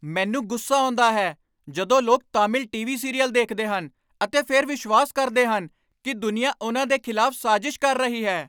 ਮੈਨੂੰ ਗੁੱਸਾ ਆਉਂਦਾ ਹੈ ਜਦੋਂ ਲੋਕ ਤਾਮਿਲ ਟੀਵੀ ਸੀਰੀਅਲ ਦੇਖਦੇ ਹਨ ਅਤੇ ਫਿਰ ਵਿਸ਼ਵਾਸ ਕਰਦੇ ਹਨ ਕਿ ਦੁਨੀਆ ਉਨ੍ਹਾਂ ਦੇ ਖਿਲਾਫ਼ ਸਾਜ਼ਿਸ਼ ਕਰ ਰਹੀ ਹੈ।